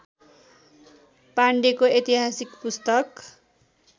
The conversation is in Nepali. पाण्डेको ऐतिहासिक पुस्तक